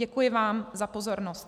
Děkuji vám za pozornost.